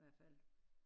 Hvert fald